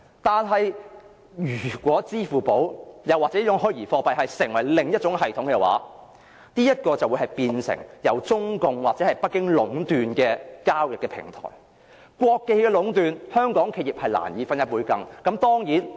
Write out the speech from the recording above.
但是，如果採用支付寶或虛擬貨幣作為另一種系統的話，便會變成由中共或北京壟斷的交易平台，一旦被國企壟斷，香港企業是難以分一杯羹的。